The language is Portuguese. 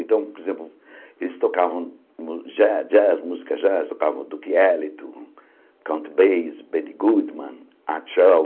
Então, por exemplo, eles tocavam jazz jazz, música jazz, tocavam Duke Ellington, Count Bass, Benny Goodman, Art Shawl.